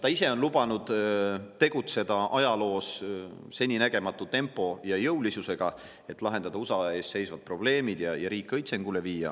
Ta ise on lubanud tegutseda ajaloos seninägematu tempo ja jõulisusega, et lahendada USA ees seisvad probleemid ja riik õitsengule viia.